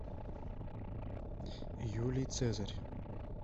юлий цезарь